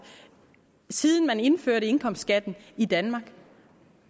siden man indførte indkomstskatten i danmark